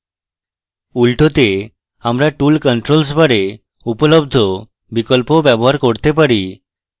উল্টোতে আমরা tool controls bar we উপলব্ধ বিকল্পও bar করতে পারি